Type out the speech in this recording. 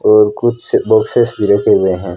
और कुछ बॉक्सेस भी रखे हुए हैं।